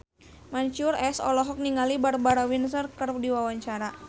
Mansyur S olohok ningali Barbara Windsor keur diwawancara